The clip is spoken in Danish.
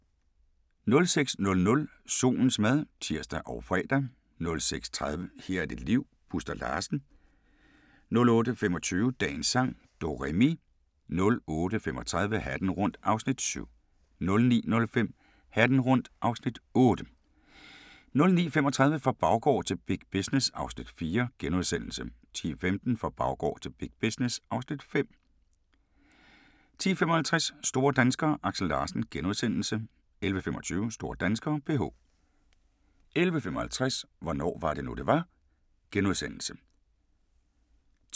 06:00: Solens mad (tir og fre) 06:30: Her er dit liv - Buster Larsen 08:25: Dagens sang: Do-re-mi 08:35: Hatten rundt (Afs. 7) 09:05: Hatten rundt (Afs. 8) 09:35: Fra baggård til big business (Afs. 4)* 10:15: Fra baggård til big business (Afs. 5) 10:55: Store danskere: Aksel Larsen * 11:25: Store danskere: PH 11:55: Hvornår var det nu det var? *